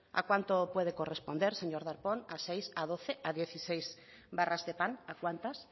a cuánto puede corresponder señor darpón a seis a doce a dieciséis barras de pan a cuántas